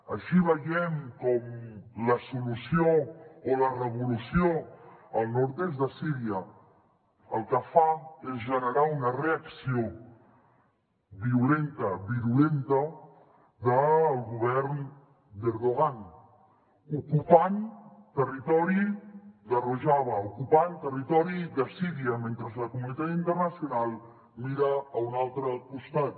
així veiem com la solució o la revolució al nord est de síria el que fa és generar una reacció violenta virulenta del govern d’erdoğan ocupant territori de rojava ocupant territori de síria mentre la comunitat internacional mira a un altre costat